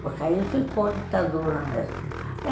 Porque aí ficou ditadura mesmo.